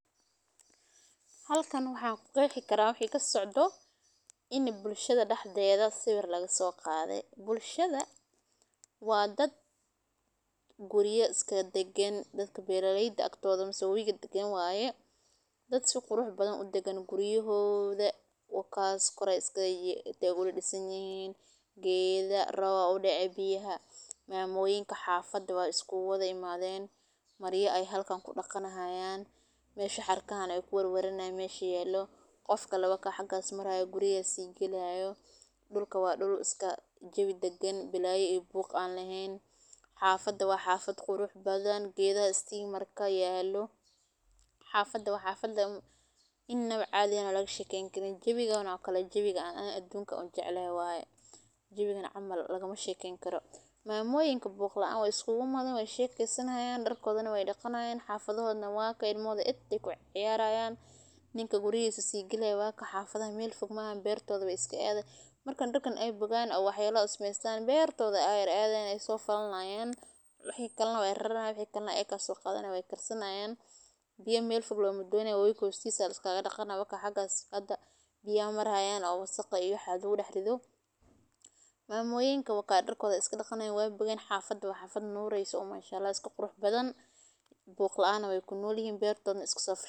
Halkan waxan ku qexii karaa in bulshada dexdeda sawir laga so qade. Bulshada waa dad quryaa iska dagan, dad beeraleyda agtoda iska dagan waye oo si qurux badan u dagan quryahoda, si qurux badan ay u dhisan yihin, geeda rob aa u dece mamoyinka xafada isku wadha imaden halkan maarya ay kudaqanayan mesha xarkahan ayey iskaga waranayan ,guryahey si galayaan, dhulka waa dhul iska dagan oo jawi dagan blayo iyo buq aan lahayn. Xafada waa meel qurux badan oo istimar yalo, jawigan oo kale waa midka aan adunka ugu jeclahay ,jawigan camal lagama shekeyni karo mamoyinka waa iska shekesanayan ,darkodna weey dhaqanayan ilmahod entaa ay kuciyarayan oo ninka gurigisa si galaya wakaan oo xafadodha meel fog maahan. Markey darkan bogan aayar bertoda ayey adayan wey falanayan ,wixi kalena wey raranayan ,biyaa mel fog lomadonayo wakaas wabiga xostisa laiskagaa dhaqanaya wakaas ,hostisa maraya oo wasaqda iyo waxas lagu daxrido, mamoyinka wakas darkoda ayey iska daqanayan wakas xafada waa xafad nureysa oo iska qurux badan buq laana wey kunol yihin oo beertodna waay iska so.